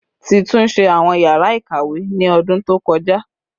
Ti tunṣe awọn yara ikawe ni ọdun to kọja